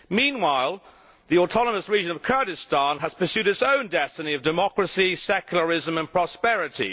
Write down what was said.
Meanwhile, the autonomous region of Kurdistan has pursued its own destiny of democracy, secularism and prosperity.